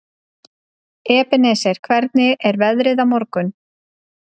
Ebeneser, hvernig er veðrið á morgun?